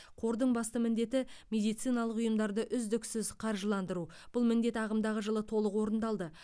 қордың басты міндеті медициналық ұйымдарды үздіксіз қаржыландыру бұл міндет ағымдағы жылы толық орындалды